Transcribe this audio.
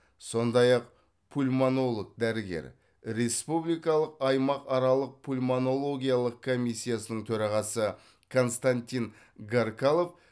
сондай ақ пульмонолог дәрігер республикалық аймақаралық пульмонологиялық комиссияның төрағасы константин гаркалов